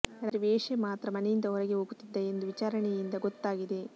ರಾತ್ರಿ ವೇಶೆ ಮಾತ್ರ ಮನೆಯಿಂದ ಹೊರಗೆ ಹೋಗುತ್ತಿದ್ದ ಎಂದು ವಿಚಾರಣೆಯಿಂದ ಗೊತ್ತಾಗಿದೆ